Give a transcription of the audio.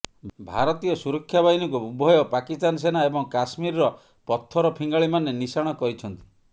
ଭାରତୀୟ ସୁରକ୍ଷାବାହିନୀକୁ ଉଭୟ ପାକିସ୍ତାନ ସେନା ଏବଂ କାଶ୍ମୀରର ପଥର ଫିଙ୍ଗାଳିମାନେ ନିଶାଣ କରିଛନ୍ତି